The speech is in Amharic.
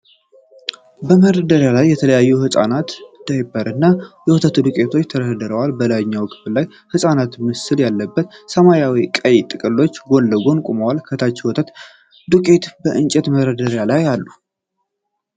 በመደርደሪያ ላይ የተለያዩ የሕፃናት ዳይፐር እና የወተት ዱቄቶች ተደርድረዋል። በላይኛው ክፍል ላይ የሕፃን ምስል ያለበት ሰማያዊና ቀይ ጥቅልሎች ጎን ለጎን ቆመዋል። ከታች የወተት ዱቄቶች በእንጨት መደርደሪያ ላይ አሉ።